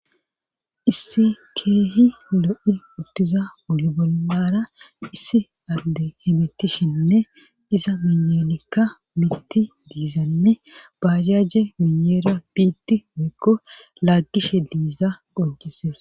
issi keehi lo7i uttiza bollara issi adde hemitishenne iza miyelikka miiti diizanne baajaje miyeera biitti moekko laagishe diiza qoncises